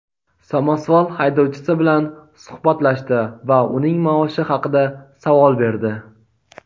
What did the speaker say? samosval haydovchisi bilan suhbatlashdi va uning maoshi haqida savol berdi.